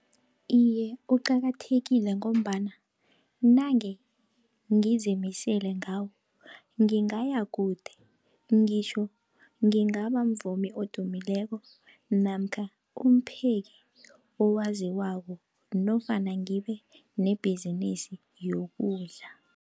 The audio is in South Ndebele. Iye, uqakathekile ngombana nange ngizimisele ngawo, ngingaya kude ngitjho ngingaba mvumi odumileko namkha umpheki owaziko nofana ngibe nebhizinisi yokudla.